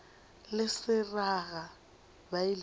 le seraga ba ile ba